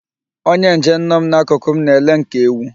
Onye njem nọ m n'akụkụ m na-ele m ka ewu.